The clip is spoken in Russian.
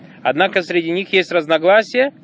однако среди них есть разногласия